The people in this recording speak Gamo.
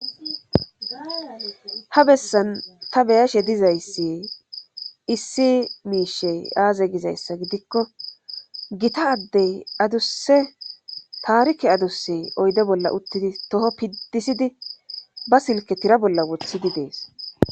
ha bessan ta beyashe dizayssi issi miishey aaze gizayssa gidikko gita addey adusse taarike aduse oyde bolla uttidi toho piddisidi ba silke tira bolla wothidi dees